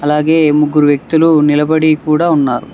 అలాగే ముగ్గురు వ్యక్తులు నిలబడి కూడా ఉన్నారు.